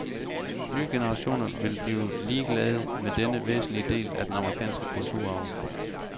Nye generationer vil blive ligeglade med denne væsentlige del af den amerikanske kulturarv.